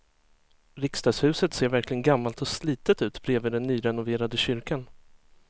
Riksdagshuset ser verkligen gammalt och slitet ut bredvid den nyrenoverade kyrkan.